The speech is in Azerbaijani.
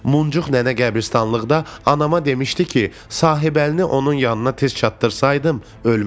Muncuq nənə qəbristanlıqda anama demişdi ki, Sahibəlini onun yanına tez çatdırsaydım, ölməzdi.